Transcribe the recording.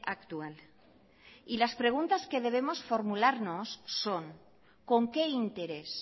actual y las preguntas que debemos formularnos son con qué interés